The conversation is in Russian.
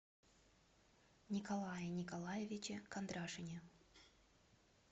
николае николаевиче кондрашине